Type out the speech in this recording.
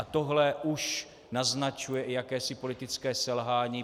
A tohle už naznačuje i jakési politické selhání.